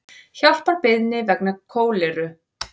Hjálparbeiðni vegna kóleru